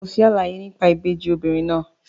Kò sí àlàyé nípa ìbejì obìnrin náà.